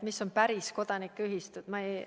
Mis on päris kodanikuühistud?